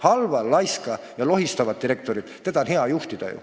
Halba, laiska ja köit lohistavat direktorit on ju hea juhtida.